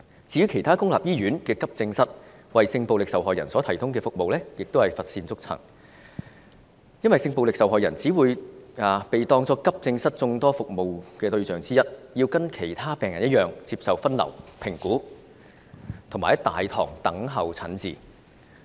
至於其他公立醫院的急症室為性暴力受害人所提供的服務亦是乏善足陳，因為性暴力受害人只會被當作急症室眾多服務對象之一，要跟其他病人一樣接受分流、評估及在大堂等候診治。